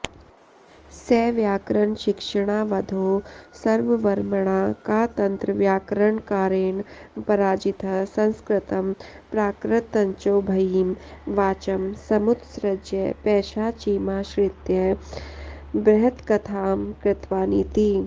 स व्याकरणशिक्षणावधौ शर्ववर्मणा कातन्त्रव्याकरणकारेण पराजितः संस्कृतं प्राकृतञ्चोभयीं वाचं समुत्सृज्य पैशाचीमाश्रित्य बृहत्कथां कृतवानिति